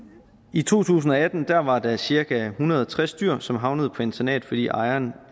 i to tusind og atten var der cirka en hundrede og tres dyr som havnede på internat fordi ejeren